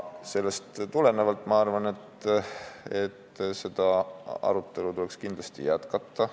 Sellest tulenevalt ma arvan, et seda arutelu tuleks kindlasti jätkata.